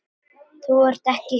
Þú ert ekki samur.